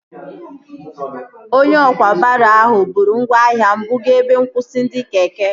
Onye ọkwá baro ahụ bụrụ ngwaahịa m buga ebe nkwụsị ndị keke